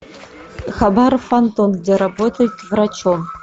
хабаров антон где работает врачом